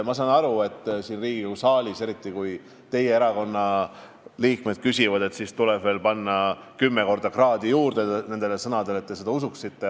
Ma saan aru, et kui siin Riigikogu saalis küsitakse, eriti kui teie erakonna liikmed küsivad, siis tuleb mul oma sõnadele veel kümme korda kraade juurde panna, et te neid usuksite.